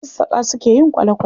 Masassaƙa suka yi kwale-kwale